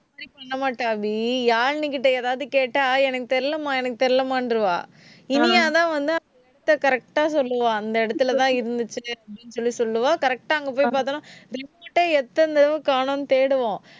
அபி. யாழினிகிட்ட எதாவது கேட்டா எனக்கு தெரியலைம்மா எனக்கு தெரியலைம்மான்றுவா. இனியா தான் வந்து அந்த இடத்தை correct ஆ சொல்லுவா, அந்த இடத்துலதான் இருந்துச்சுன்னு அப்பிடின்னு சொல்லி சொல்லுவா correct ஆ அங்க போய் பார்த்தாலும், remote அ எத்தன தடவ காணோம் தேடுவோம்.